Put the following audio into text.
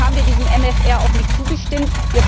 Deswegen haben wir diesem MFR auch nicht zugestimmt.